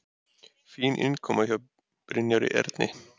Fín innkoma hjá Brynjari Erni.